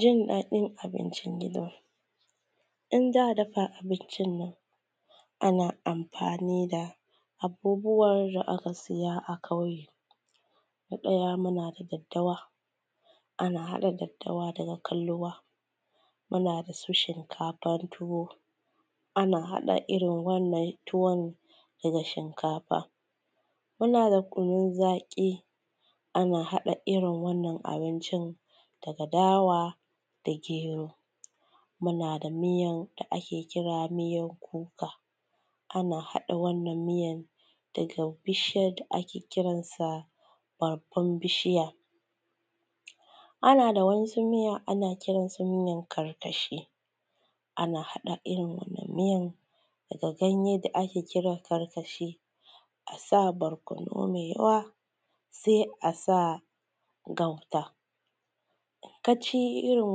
Jin daɗin abincin gida, in za’a dafa abincinnan. Ana amfani da abubuwar da aka siya ƙauye. Na ɗaya muna da daddawa, ana haɗa daddawa daga kalwa muna da su shinkafan tuwo ana haɗa irin wannan tuwon dana shikafa. Munada kunun zaƙi ana haɗa irrin wannan abincin daga dawa da gero. Mu nada miyan da ake kira miyan kuka ana haɗa wannan miyan daga bishiyan da ake kiran sa bargon bishiya Ana da wa'ensu miya ana kiransa miyan karkashi ana haɗa wannan miyan daga ganye da ake kira kalkashi asa barkonu mai yawa sai asa gauta in kaci irrin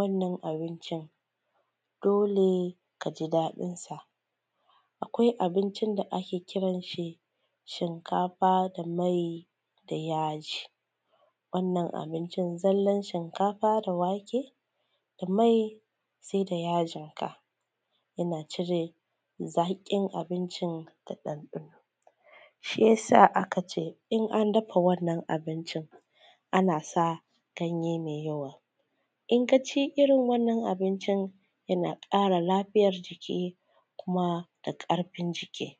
wannan dole kaji daɗin sa. Akwai abincin da ake kiransa shinkafa da mai da yaji wannan abincin zallan shinkafa da wake da mai sai da yajin ka, yana cire zaƙin abincin da ɗanɗano shiyasa a kace in an dafa wannan abincin anasa ganye da yawa in kaci irrin wannan abincin yana ƙara lafiyan jiki kuma da ƙarfin jiki.